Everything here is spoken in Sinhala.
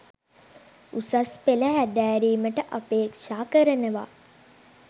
උසස් පෙළ හැදෑරීමට අපේක්ෂා කරනවා